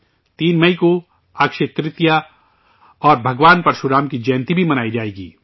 3 مئی کو اکشے ترتیہ اور بھگوان پرشو رام کی جینتی بھی منائی جائے گی